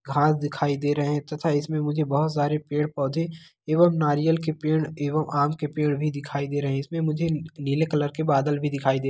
घास दिखाई दे रहे हैं तथा इसमे मुझे बोहोत सारे पेड़-पौधे एवं नारियल के पेड़ एवं आम के पेड़ भी दिखाई दे रहे हैं। इसमे मुझे नीले कलर के बादल भी दिखाई दे --